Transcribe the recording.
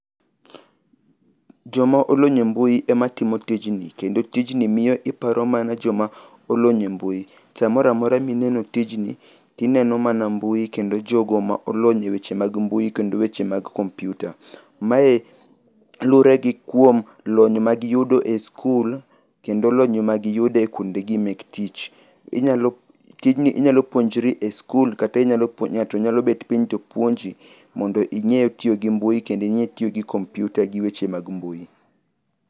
Joma olony e mbui ema timo tijni kendo tijni miyo iparo mana joma olony e mbui. Samoro amora ma ineno tijni, ineno mana mbui kendo jogo ma olony e weche mag mbui kod weche mag kompiuta. Mae luwore gi lony magiyudo kuondegi mag sikul kod kuondegi mag tich. Inyalo tijni inyalo puonjri e sikul kata inyalo puonj ng'ato nyalo bet piny to puonji mondo ing'e tiyo gi mbui kendo ing'e tiyo gi kompiuta gi weche mag mbui.